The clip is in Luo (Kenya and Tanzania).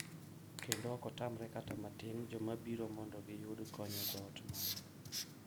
Kendo ok otamre kata matin joma biro mondo giyud kony e dhot marwa.